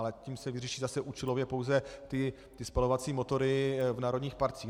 Ale tím se vyřeší zase účelově pouze ty spalovací motory v národních parcích.